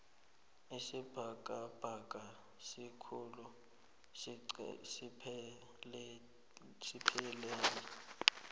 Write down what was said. isibhakabhaka sikhulu asipheleli